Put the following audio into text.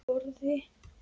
Á borðið.